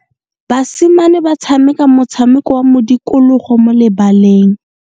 Basimane ba tshameka motshameko wa modikologo mo lebaleng.